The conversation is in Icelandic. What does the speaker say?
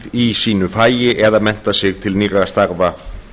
í sínu fagi eða mennta sig til nýrra starfa